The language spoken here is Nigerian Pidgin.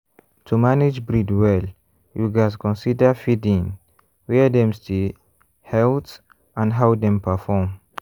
to manage breed well you gats consider feeding where dem stay health and how dem perform.